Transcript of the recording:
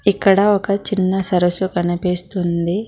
ఇక్కడ ఒక చిన్న సరస్సు కనిపిస్తుంది.